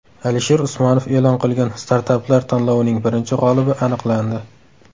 Alisher Usmonov e’lon qilgan startaplar tanlovining birinchi g‘olibi aniqlandi.